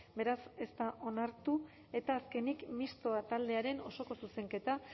beraz ez da onartu eta azkenik mistoa taldearen osoko zuzenketa